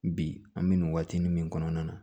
Bi an bɛ nin waatinin min kɔnɔna na